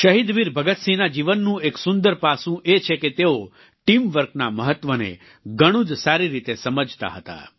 શહીદ વીર ભગતસિંહના જીવનનો એક સુંદર પાસુ એ છે કે તેઓ ટીમ વર્કના મહત્વને ઘણું જ સારી રીતે સમજતા હતા